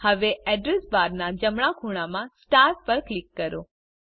હવે Address બારના જમણા ખૂણામાં સ્ટાર પર ક્લિક કરો